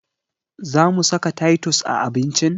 Zamu saka taitus a abincin?